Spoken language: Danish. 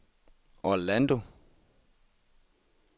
Orlando